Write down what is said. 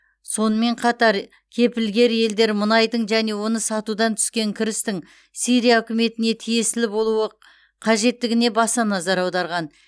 сонымен қатар кепілгер елдер мұнайдың және оны сатудан түскен кірістің сирия үкіметіне тиесілі болуы қажеттігіне баса назар аударған